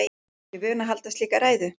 Amma er ekki vön að halda slíka ræðu.